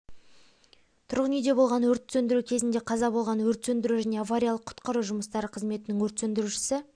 тұрғын-үйде болған өртті сөндіру кезінде қаза болған өрт сөндіру және авариялық-құтқару жұмыстары қызметінің өрт сөндірушісі